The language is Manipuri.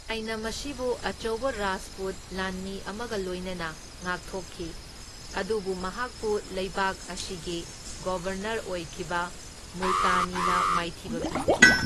ꯃꯁꯤꯕꯨ ꯑꯆꯧꯕ ꯔꯥꯖꯄꯨꯠ ꯂꯥꯟꯃꯤ ꯑꯃꯒ ꯂꯣꯏꯅꯅ ꯉꯥꯛꯊꯣꯛꯈꯤ, ꯑꯗꯨꯕꯨ ꯃꯍꯥꯛꯄꯨ ꯂꯩꯕꯥꯛ ꯑꯁꯤꯒꯤ ꯒꯣꯚꯔꯅꯔ ꯑꯣꯏꯈꯤꯕ ꯃꯨꯜꯇꯥꯅꯤꯅ ꯃꯥꯏꯊꯤꯕ ꯄꯤꯈꯤ꯫